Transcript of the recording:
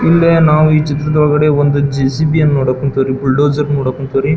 ಇಲ್ಲಿ ನಾವು ಈ ಚಿತ್ರದೊಳಗಡೆ ಒಂದು ಜೆ.ಸಿ.ಬಿ. ಯನ್ನು ನೋಡಕ್ ಕುಂತರಿ ಬುಲ್ಡೋಸರ್ ನೋಡಕ್ ಕುಂತವ್ರಿ.